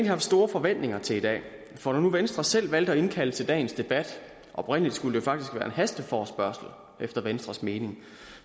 haft store forventninger til i dag for når nu venstre selv valgte at indkalde til dagens debat oprindelig skulle det faktisk have været en hasteforespørgsel efter venstres mening